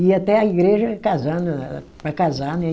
Ia até a igreja casando ela, para casar, né?